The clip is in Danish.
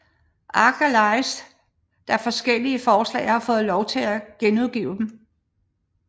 Arch Allies da forskellige forlag har fået lov til at genudgive dem